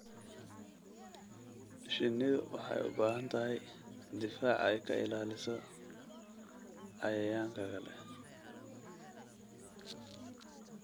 Shinnidu waxay u baahan tahay difaac ay ka ilaaliso cayayaanka kale.